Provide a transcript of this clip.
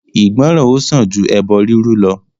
Ìgbọ́ran ó sàn ju ẹbọ rírú lọ.